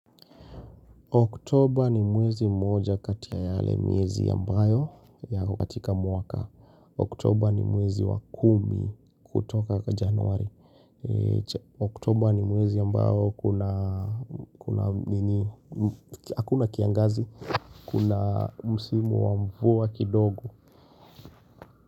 Oktober ni mwezi mmoja katika yale mwezi ambayo yako katika mwaka. Oktober ni mwezi wa kumi kutoka kwa januari. Oktober ni mwezi ambayo kuna, kuna, nini, hakuna kiangazi. Kuna msimu wa mvua kidogo.